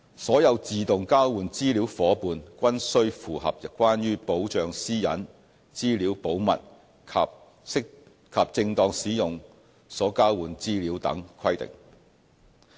所有自動交換資料夥伴均須符合關於保障私隱、資料保密及正當使用所交換資料等規定。